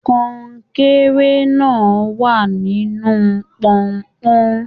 Kọnkéré náà wà nínú pọ́npọ́n.